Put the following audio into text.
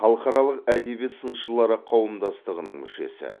халықаралық әдебиет сыншылары қауымдастығының мүшесі